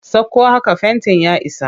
Sakko haka fentin ya isa!